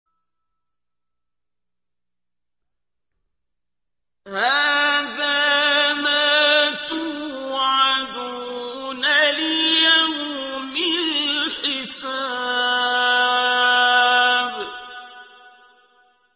هَٰذَا مَا تُوعَدُونَ لِيَوْمِ الْحِسَابِ